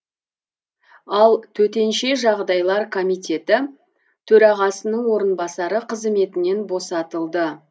ал төтенше жағдайлар комитеті төрағасының орынбасары қызметінен босатылды